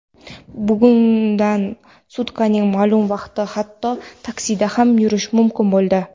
bugundan sutkaning ma’lum vaqtida hatto taksida ham yurish mumkin bo‘ldi.